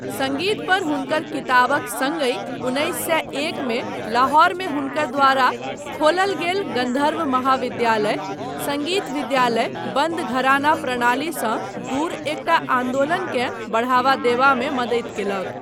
सङ्गीत पर हुनकर किताबक सङ्गहि उन्नैस सए एक मे लाहौरमे हुनकर द्वारा खोलल गेल गन्धर्व महाविद्यालय सङ्गीत विद्यालय बन्द घराना प्रणालीसँ दूर एकटा आन्दोलनकेँ बढ़ावा देबामे मदति कयलक।